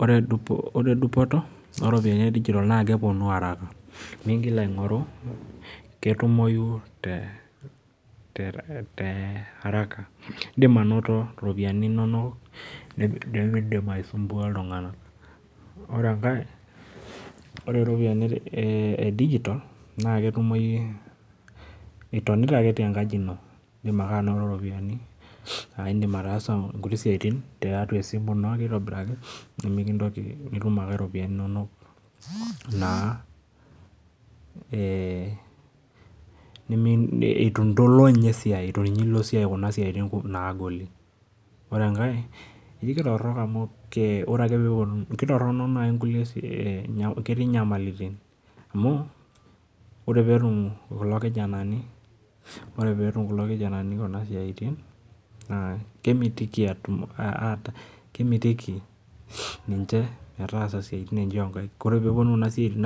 Oree dupotoo oo ropiyianii e digital naa kepuonuu araka naa kutumoyuu te araka indim anotoo mingiraa aisumbua itunganak. oree iropiyiaai naa ketumoyu ake itonitaa tenkaji into itum ake niyee ituu iloo kuna siatin nagolii. oree enkae kitoronok amuu ketii inyamalitin oree peyiee itum irkijanani naa kemitikii ninje ees isiatin